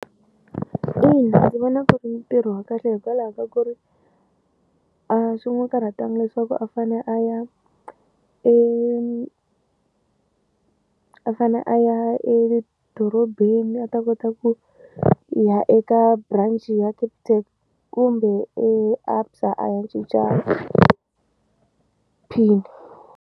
Ina, ndzi vona ku ri ntirho wa kahle hikwalaho ka ku ri a swi n'wi karhatangi leswaku a fane a ya e a fane a ya edorobeni a ta kota ku ya eka branch ya Capitec kumbe ABSA a ya cinca pin.